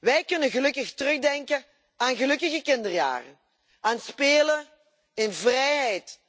Wij kunnen gelukkig terugdenken aan gelukkige kinderjaren, aan spelen in vrijheid.